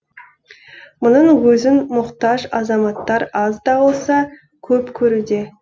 мұның өзін мұқтаж азаматтар аз да болса көп көруде